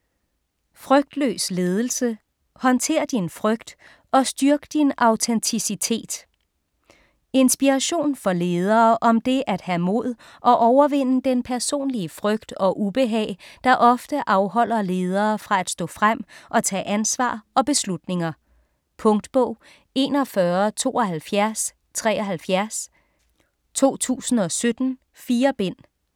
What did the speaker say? Frygtløs ledelse: håndtér din frygt, og styrk din autenticitet Inspiration for ledere om det at have mod og overvinde den personlige frygt og ubehag, der ofte afholder ledere fra at stå frem og tage ansvar og beslutninger. Punktbog 417273 2017. 4 bind.